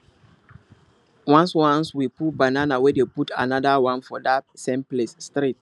once once we pull banana we dey put another one for that same place straight